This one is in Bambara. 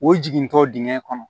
O jigintɔ dingɛn kɔnɔ